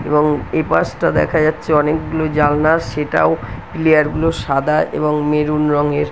এবং এপাশটা দেখা যাচ্ছে অনেকগুলো জানলা সেটাও পিলিয়ার গুলো সাদা এবং মেরুন রঙের ।